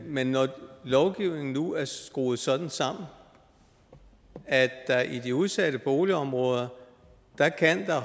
men når lovgivningen nu er skruet sådan sammen at der i de udsatte boligområder